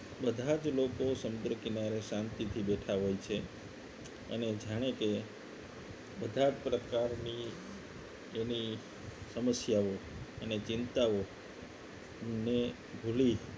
બધા જ લોકો સમુદ્ર કિનારે શાંતિથી બેઠા હોય છે અને જાણે કે બધા પ્રકારની એની સમસ્યાઓ અને ચિંતાઓ ને ભૂલી